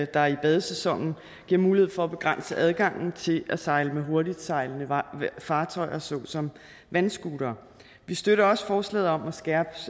der i badesæsonen giver mulighed for at begrænse adgangen til at sejle med hurtigtsejlende fartøjer såsom vandscootere vi støtter også forslaget om at skærpe